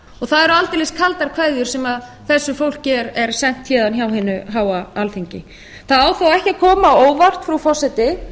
það eru aldeilis kaldar kveðjur sem þessu fólki er sent héðan frá hinu háa alþingi það á þó ekki að koma á óvart frú forseti